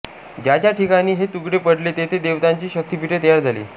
ज्या ज्या ठिकाणी हे तुकडे पडले तेथे देवतांची शक्तिपीठे तयार झाली